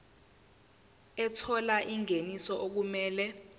ethola ingeniso okumele